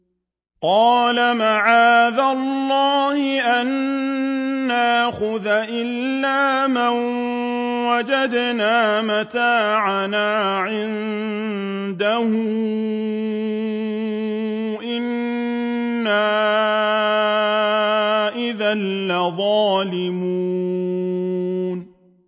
قَالَ مَعَاذَ اللَّهِ أَن نَّأْخُذَ إِلَّا مَن وَجَدْنَا مَتَاعَنَا عِندَهُ إِنَّا إِذًا لَّظَالِمُونَ